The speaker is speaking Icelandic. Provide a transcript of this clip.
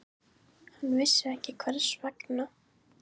Hann vissi ekki hvers vegna.